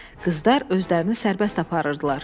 Qızlar özlərini sərbəst aparırdılar.